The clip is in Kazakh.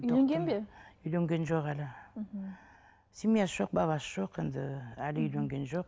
үйленген бе үйленген жоқ әлі мхм семьясы жоқ баласы жоқ енді әлі үйленген жоқ